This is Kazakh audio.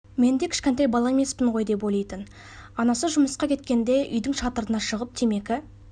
мен де кішкентай бала емеспін ғой деп ойлайтын анасы жұмысқа кеткенде үйдің шатырына шығып темекі